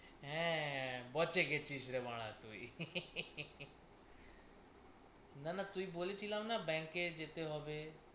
হ্যাঁ বচে গেছিস রে বাড়া তুই। না না তুই বলেছিলাম না bank এ যেতে হবে?